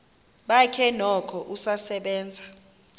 bakhe noko usasebenza